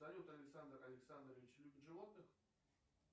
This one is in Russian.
салют александр александрович любит животных